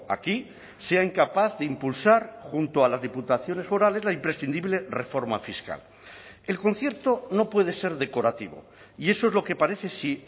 aquí sea incapaz de impulsar junto a las diputaciones forales la imprescindible reforma fiscal el concierto no puede ser decorativo y eso es lo que parece si